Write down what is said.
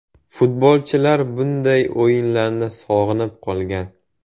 Futbolchilar bunday o‘yinlarni sog‘inib qolgan.